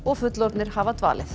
fullorðnir hafa dvalið